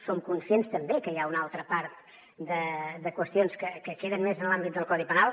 som conscients també que hi ha una altra part de qüestions que queden més en l’àmbit del codi penal